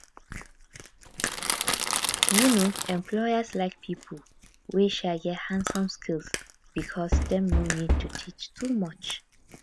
um employers like people wey um get handson skills because dem no need to teach too much